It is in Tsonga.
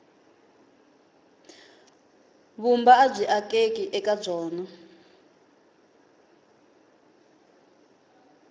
vumba abyi akeki eka byona